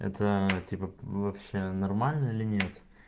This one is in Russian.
это типа вообще нормально или нет